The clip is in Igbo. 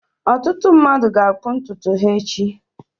Ọtụtụ mmadụ ga-akpụ ntutu ha echi.